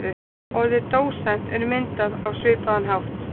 Orðið dósent er myndað á svipaðan hátt.